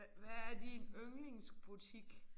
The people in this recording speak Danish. Hvad hvad er din yndlingsbutik?